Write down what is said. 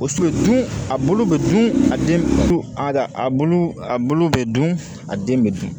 O so dun a bulu be dun a den su a a bulu a bulu bɛ dun a den bɛ dun